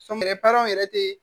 Sɔmɛrɛ yɛrɛ te